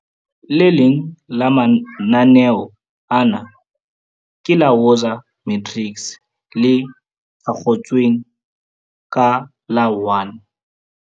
Le leng la mananeo ana ke la Woza Matrics, le thakgotsweng ka la 1.